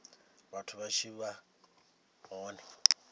vhathu vha tshi vha hone